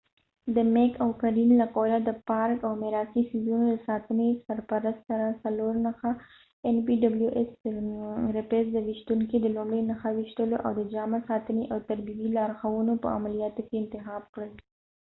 د میک او قلین له قوله د پارک او میراثي څیزونو د ساتنې سرپرست رییس د npws سره څلور نښه ویشتونکي د لومړۍ نښه ویشتلو او د جامع ساتنې او تربیوي لارښوونو په عملیاتو کې انتخاب کړل